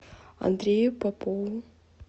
андрею попову